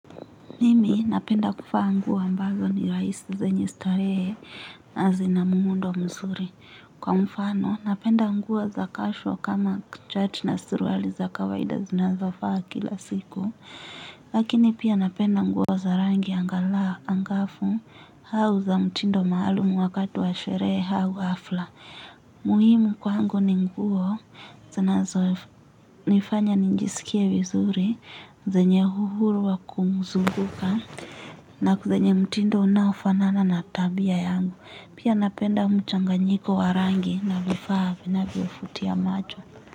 Mimi napenda kufa nguo ambazo ni raisi zenye starehe na zina mundo mzuri. Kwa mfano napenda nguo za casual kama chat na suruali za kawaida zinazofaa kila siku. Lakini pia napenda nguo za rangi angala angafu hau za mtindo maalumu wakati wa sherehe hau hafla. Muhimu kwa angu ni nguo, zanazo nifanya nijisikie vizuri, zenye uhuru wa kumzunguka, na kuzenye mtindo unaofanana na tabia yangu. Pia napenda mchanganyiko warangi na vifahaa na vifovutia macho.